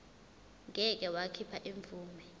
ngeke wakhipha imvume